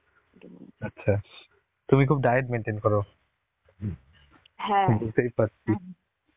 আচ্ছা. তুমি খুব diet maintain করো. বুঝতেই পারছি.